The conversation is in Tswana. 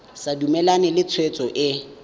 sa dumalane le tshwetso e